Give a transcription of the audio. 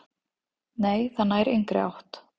"""Nei, það nær engri átt."""